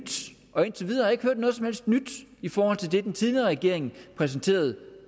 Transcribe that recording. og indtil videre ikke hørt noget som helst nyt i forhold til det den tidligere regering præsenterede